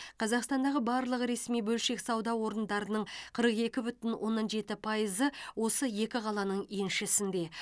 қазақстандағы барлық ресми бөлшек сауда орындарының қырық екі бүтін оннан жеті пайызы осы екі қаланың еншісінде